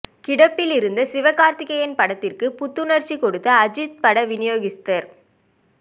கிடப்பில் இருந்த சிவகார்த்திகேயன் படத்திற்கு புத்துணர்ச்சி கொடுத்த அஜித் பட விநியோகிஸ்தர்